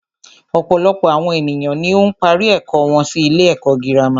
Ọ̀pọ̀lọpọ̀ àwọn ènìyàn ni ó ń parí ẹ̀kọ́ wọn sí ilé ẹ̀kọ́ gírámà.